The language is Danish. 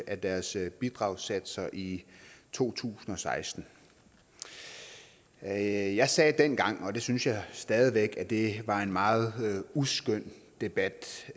af deres bidragssatser i to tusind og seksten jeg jeg sagde dengang og det synes jeg stadig væk at det var en meget uskøn debat